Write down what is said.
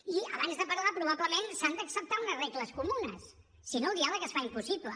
i abans de parlar probablement s’han d’acceptar unes regles comunes si no el diàleg es fa impossible